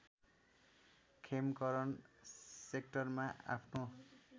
खेमकरण सेक्टरमा आफ्नो